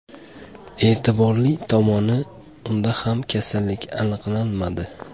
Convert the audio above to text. E’tiborli tomoni, unda ham kasallik aniqlanmadi.